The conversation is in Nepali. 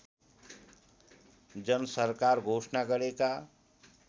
जनसरकार घोषणा गरेका